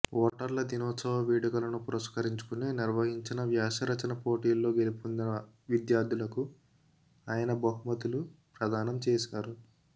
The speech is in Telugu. ఓటర్ల దినోత్సవ వేడుకలను పురస్కరించుకొని నిర్వహించిన వ్యాసరచన పోటీల్లో గెలుపొందిన విద్యార్థులకు ఆయనబహుమతులు ప్రదానం చేశారు